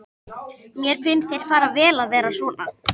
Mér finnst þér fara vel að vera svona.